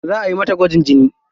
Za ayi mata gwajin jini.